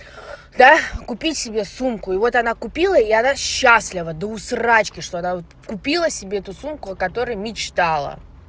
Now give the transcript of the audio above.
да купи себе сумку и вот она купила и она счастлива до усрачки что она купила себе эту сумку о которой мечтала